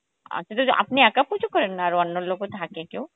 আচ্ছা তো আপনি একা পুজো করেন না আরো অন্য লোকও থাকে কেউ